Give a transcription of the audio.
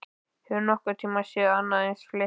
Hefurðu nokkurn tíma séð annað eins flykki?